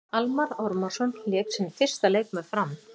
Almarr Ormarsson lék sinn fyrsta leik með Fram.